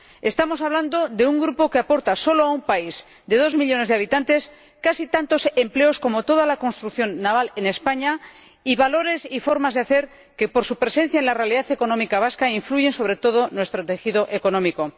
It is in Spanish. Estamos hablando de un grupo que aporta solo a un país de dos millones de habitantes casi tantos empleos como toda la construcción naval en España y valores y formas de hacer que, por su presencia en la realidad económica vasca, influyen sobre todo nuestro tejido económico.